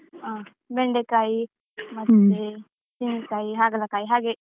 ಹಾ ಬೆಂಡೇಕಾಯಿ ಮತ್ತೆ ತೆಂಗಿನಕಾಯಿ, ಹಾಗಲಕಾಯಿ ಹಾಗೆ.